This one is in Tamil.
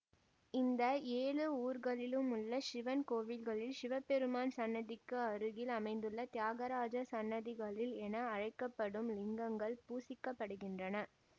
இந்த ஏழு ஊர்களிலுமுள்ள சிவன் கோவில்களில் சிவபெருமான் சன்னதிக்கு அருகில் அமைந்துள்ள தியாகராஜர் சன்னதிகளில் என அழைக்க படும் லிங்கங்கள் பூசிக்கப்படுகின்றன